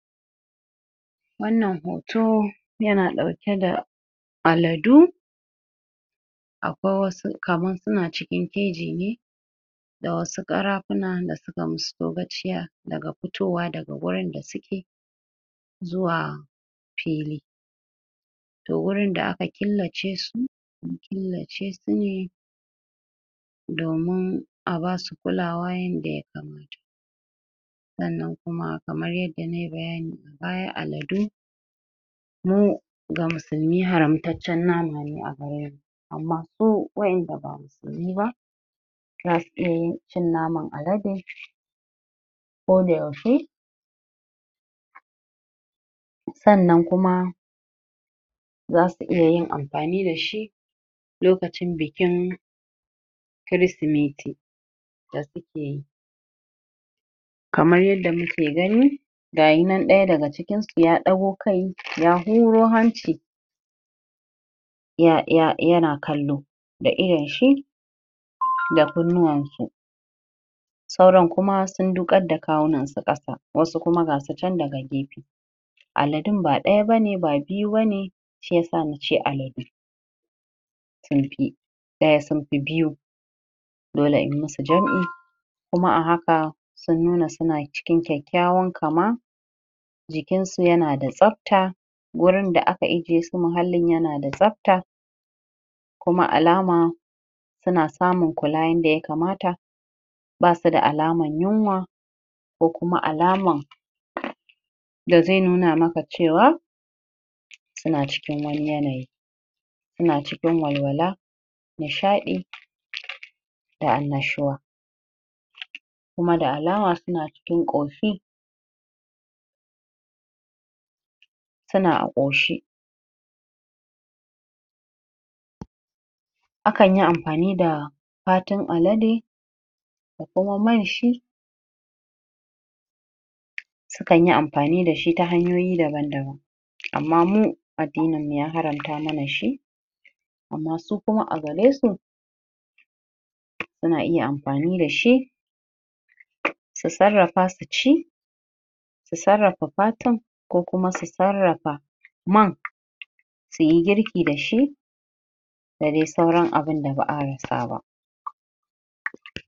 Wannan hoto yana ɗauke da aladu akwai wasu kaman suna cikin keji ne da wasu ƙarafuna da suka musu togaciya daga fitowa daga gurin da suke zuwa fili toh wurin da aka killace su an killace su ne domin a basu kulawa yadda ya kamata sannan kuma kamar yadda nayi bayani baya aladu mu ga musulmi haramtaccen nama ne agare mu amma su wa'in da ba musulmi ba zasu iya yin cin naman alade koda yaushe sannan kuma zasu iya yin amfani dashi lokacin bikin kirismeti da suke yi kamar yadda muke gani gayi nan ɗaya daga cikinsu ya ɗago kai ya huro hanci ya ya yana kallo da idonshi da kunnuwan shi sauran kuma sun duƙar da kawunansu ƙasa wasu kuma gasu chan daga gefe aladun ba ɗaya bane ba biyu bane shiyasa nace aladu sun fi ɗaya sun fi biyu dole in musu jam'i kuma a haka sun nuna suna cikin kyakkyawan kama jikinsu yana da tsafta gurin da aka ije su muhallin yanada tsafta kuma alama suna samun kula yadda ya kamata basu da alaman yunwa ko kuma alaman da zai nuna maka cewa suna cikin wani yanayi suna cikin walwala nishaɗi da annashuwa kuma da alama suna cikin ƙoshi suna a ƙoshe a kanyi amfani da fatun alade da kuma manshi su kanyi amfani dashi ta hanyoyi daban-daban amma mu addinin mu ya haramta mana shi amma su kuma agaresu suna iya amfani dashi su sarrafa su ci su sarrafa fatun ko kuma su sarrafa man suyi girki dashi da dai sauran abunda ba'a rasa ba